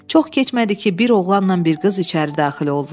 Çox keçmədi ki, bir oğlanla bir qız içəri daxil oldular.